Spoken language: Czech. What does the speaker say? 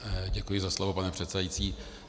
Děkuji za slovo, pane předsedající.